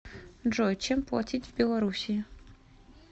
джой чем платить в белоруссии